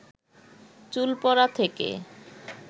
চুল পড়া থেকে